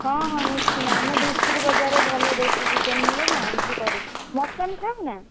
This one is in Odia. ହଁ ହଁ ନିଶ୍ଚିନ୍ତ ଆମ ଧୁସୁରୀ ବଜାରରେ ଭଲ ଦେଶୀ chicken ମିଳେ ମୁଁ ଆଣିକି କରିବି mutton ଖାଉନା?